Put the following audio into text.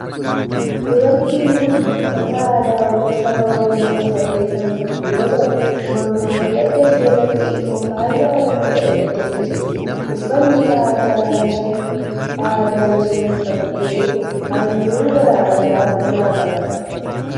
Dubartiin tun uffata aadaa saba oromoo uffattee kan jirtu yoo ta'u mormaa fi adda ishee irratti immoo faaya oromoo godhattee jirti. Uffanni aadaa isheen uffatte halluu garaa garaa of irraa qaba.